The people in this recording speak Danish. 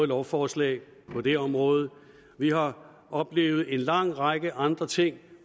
lovforslag på det område vi har oplevet en lang række andre ting